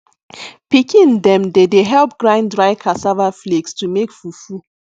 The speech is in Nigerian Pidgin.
pikin dem dey dey help grind dry cassava flakes to take make fufu